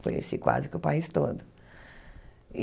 Conheci quase que o país todo.